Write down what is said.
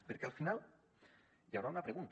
perquè al final hi haurà una pregunta